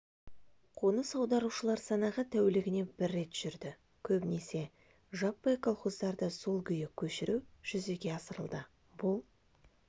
қоныс аударушылар санағы тәулігіне бір рет жүрді көбінесе жаппай колхоздарды сол күйі көшіру жүзеге асырылды бұл